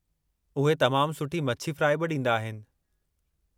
उहे तमामु सुठी मछी फ़्राई बि ॾींदा आहिनि।